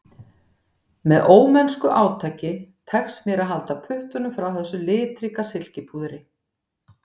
Með ómennsku átaki tekst mér að halda puttunum frá þessu litríka silkipúðri